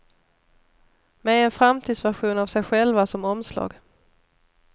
Med en framtidsvision av sig själva som omslag.